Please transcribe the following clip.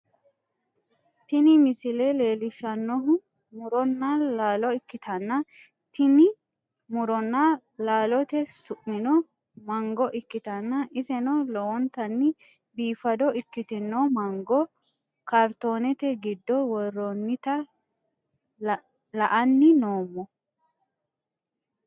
Tini misile leellishshannohu muronna laalo ikkitanna, tini muronna laalote su'mino mango ikkitanna, iseno lowontanni biifado ikkitino mango kaartoonete giddo worroonnita la'anni noommo.